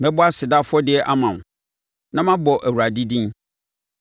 Mɛbɔ aseda afɔdeɛ ama wo na mabɔ Awurade din.